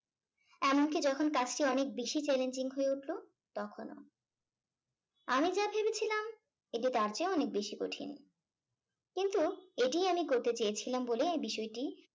এমনকি যখন কাজটি অনেক বেশি challenging হয়ে উঠলো তখনো। আমি যা ভেবেছিলাম এটি তার চেয়ে অনেক বেশি কঠিন কিন্তু এটি আমি করতে চেয়েছিলাম বলেই আমি বিষয়টি